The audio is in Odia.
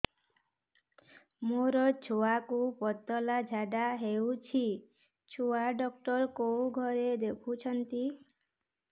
ମୋର ଛୁଆକୁ ପତଳା ଝାଡ଼ା ହେଉଛି ଛୁଆ ଡକ୍ଟର କେଉଁ ଘରେ ଦେଖୁଛନ୍ତି